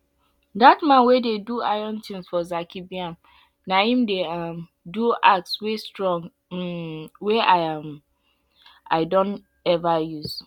dat man wey dey do iron tins for zaki biam na em dey um do axe wey strong um wey um i don ever use